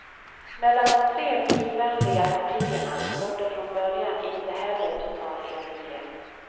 Mellan de tre bilvänliga partierna rådde från början inte heller total enighet.